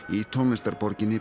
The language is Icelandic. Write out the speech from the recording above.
í